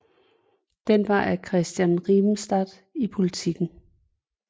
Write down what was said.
Den var af Christian Rimestad i Politiken